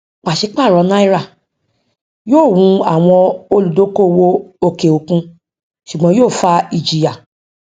pàṣẹ paro náírà yóò wò àwọn olúdókòwò òkè òkun ṣùgbọn yóò fa ìjìyà